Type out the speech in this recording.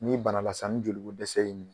Ni banala san ni joli ko dɛsɛ y'i m